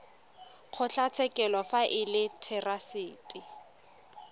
kgotlatshekelo fa e le therasete